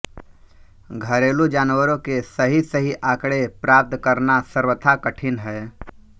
घरेलू जानवरों के सही सही आँकड़े प्राप्त करना सर्वथा कठिन है